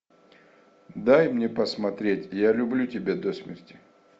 дай мне посмотреть я люблю тебя до смерти